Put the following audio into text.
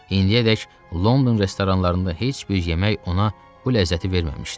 İndiyədək London restoranlarında heç bir yemək ona bu ləzzəti verməmişdi.